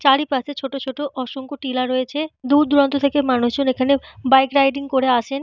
চারিপাশে ছোট ছোট অসংখ্য টিলা রয়েছে। দূর দূরান্ত থেকে মানুষজন এখানে বাইক রাইডিং করে আসেন।